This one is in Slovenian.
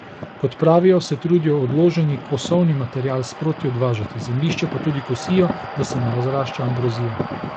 Kot pravijo, se trudijo odloženi kosovni material sproti odvažati, zemljišče pa tudi kosijo, da se ne razrašča ambrozija.